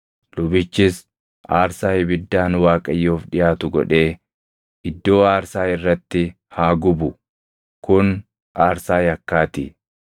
Lubichis aarsaa ibiddaan Waaqayyoof dhiʼaatu godhee iddoo aarsaa irratti haa gubu; kun aarsaa yakkaa ti.